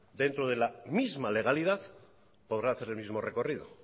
dentro de la misma legalidad podrá hacer el mismo recorrido